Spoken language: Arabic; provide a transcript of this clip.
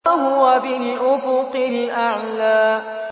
وَهُوَ بِالْأُفُقِ الْأَعْلَىٰ